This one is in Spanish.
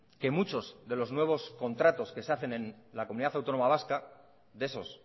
que muchos de los nuevos contratos que se hacen en la comunidad autónoma vasca de esos